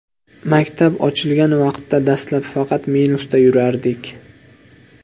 Maktab ochilgan vaqtda dastlab faqat minusda yurardik.